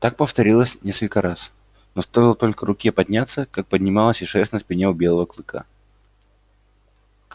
так повторилось несколько раз но стоило только руке подняться как поднималась и шерсть на спине у белого кыка